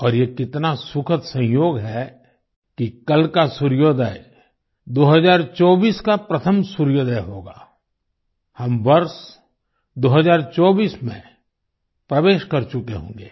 और ये कितना सुखद संयोग है कि कल का सूर्योदय 2024 का प्रथम सूर्योदय होगा हम वर्ष 2024 में प्रवेश कर चुके होंगे